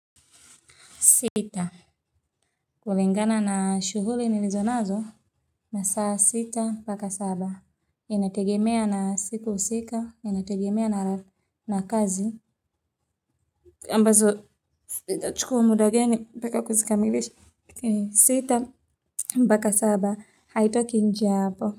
Sita kulingana na shughuli nilizo nazo na saa sita mpaka saba inategemea na siku husika inategemea na kazi ambazo huchukua muda gani mpaka kuzikamilisha sita mpaka saba haitoki nje ya hapo.